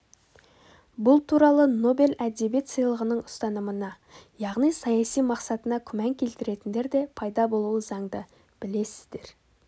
бұл туралы нобель әдебиет сыйлығының ұстанымына яғни саяси мақсатына күмән келтіретіндер де пайда болуы заңды білесіздер